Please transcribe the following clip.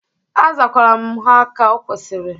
Azakwara m ha ka okwesiri.